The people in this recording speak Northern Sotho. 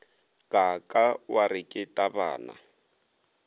kaaka wa re ke tabana